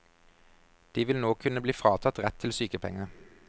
De vil nå kunne bli fratatt rett til sykepenger.